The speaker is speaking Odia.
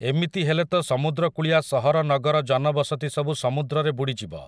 ଏମିତି ହେଲେ ତ ସମୁଦ୍ରକୁଳିଆ ସହର ନଗର ଜନବସତି ସବୁ ସମୁଦ୍ରରେ ବୁଡ଼ିଯିବ ।